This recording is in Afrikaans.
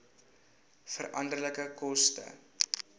veranderlike koste